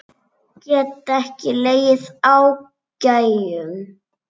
Get ekki legið á gægjum.